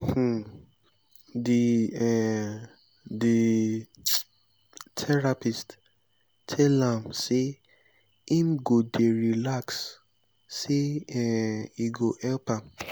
um di um di um therapist tell am sey im go dey relax sey um e go help am.